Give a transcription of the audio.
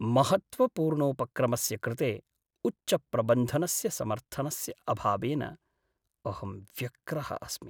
महत्त्वपूर्णोपक्रमस्य कृते उच्चप्रबन्धनस्य समर्थनस्य अभावेन अहं व्यग्रः अस्मि।